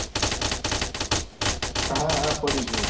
હા હા પડી જ હોય.